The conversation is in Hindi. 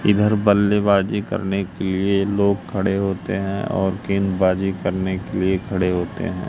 इधर बल्लेबाजी करने के लिए लोग खड़े होते हैं और गेंदबाजी करने के लिए खड़े होते हैं।